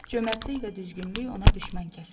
Cömərdlik və düzgünlük ona düşmən kəsildi.